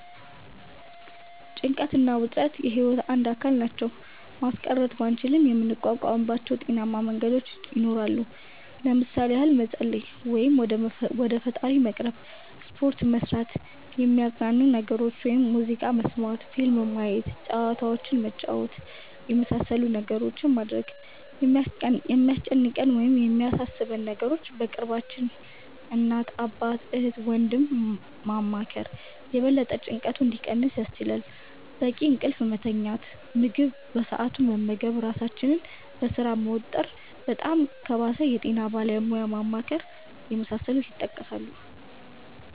ጭንቀት እና ውጥረት የህይወት አንድ አካል ናቸው። ማስቀረት ባንችልም የምንቋቋምባቸው ጤናማ መንገዶች ይኖራሉ። ለምሣሌ ያህል መፀለይ(ወደ ፈጣሪ መቅረብ)፣ሰፖርት መስራት፣ የሚያዝናኑንን ነገሮች (ሙዚቃ መስመት፣ ፊልም ማየት፣ ጨዋታዎችንን መጫወት)የመሣሠሉትን ነገሮች ማድረግ፣ የሚያስጨንቀንን ወይም የሚያሣሦበንን ነገሮች በቅርባችን (እናት፣ አባት፣ እህት፣ ወንድም )ማማከር የበለጠ ጭንቀቱ እንዲቀንስ ያስችላል፣ በቂ እንቅልፍ መተኛት፣ ምግብ በሠአቱ መመገብ ራሣችንን በሥራ መወጠር፣ በጣም ከባሠ የጤና ባለሙያ ማማከር የመሣሠሉት ይጠቀሳሉ።